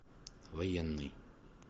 военный